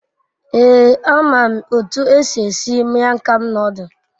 Ee, a mam otu esi esi mian kham nodul